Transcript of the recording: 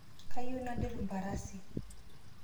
Kayieu nadir mparasi